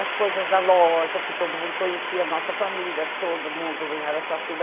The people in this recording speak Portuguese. as coisas da loja, que todo mundo conhecia a nossa família, todo mundo em Araçatuba.